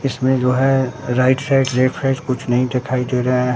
इसमें जो है राइट साइड लेफ्ट साइड कुछ नहीं दिखाई दे रहा--